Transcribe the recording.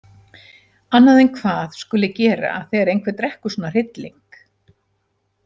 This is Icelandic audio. Annað en hvað skuli gera þegar einhver drekkur svona hrylling.